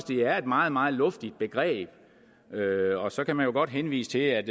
det er et meget meget luftigt begreb og så kan man jo godt henvise til at